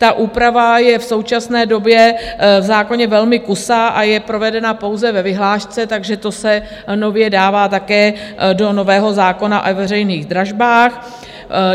Ta úprava je v současné době v zákoně velmi kusá a je provedena pouze ve vyhlášce, takže to se nově dává také do nového zákona o veřejných dražbách.